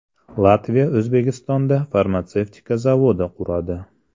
Latviya O‘zbekistonda farmatsevtika zavodi quradi.